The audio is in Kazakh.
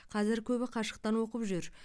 қазір көбі қашықтан оқып жүр